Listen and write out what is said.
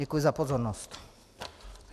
Děkuji za pozornost.